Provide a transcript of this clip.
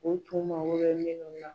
U tun mago bɛ na.